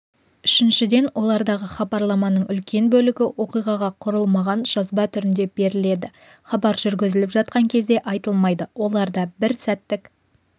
үшіншіден олардағы хабарламаның үлкен бөлігі оқиғаға құрылмаған жазба түрінде беріледі хабар жүргізіліп жатқан кезде айтылмайды оларда бір сәттік